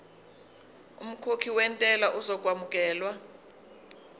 umkhokhi wentela uzokwamukelwa